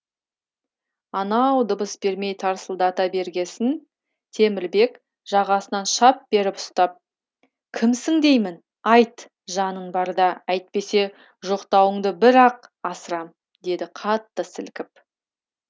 анау дыбыс бермей тарсылдата бергесін темірбек жағасынан шап беріп ұстап кімсің деймін айт жанын барда әйтпесе жоқтауыңды бір ақ асырам деді қатты сілкіп